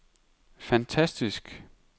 fantastisk